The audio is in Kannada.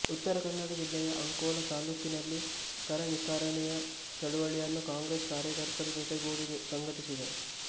ಉತ್ತರ ಕನ್ನಡ ಜಿಲ್ಲೆಯ ಅಂಕೋಲಾ ತಾಲೂಕಿನಲ್ಲಿಕರನಿರಾಕರಣೆಯ ಚಳುವಳಿಯನ್ನು ಕಾಂಗ್ರೆಸ್ ಕಾರ್ಯಕರ್ತರ ಜೊತೆಗೂಡಿ ಸಂಘಟಿಸಿದರು